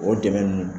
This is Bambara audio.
O dɛmɛ ninnu